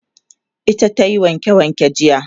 ita tayi wanke wanke jiya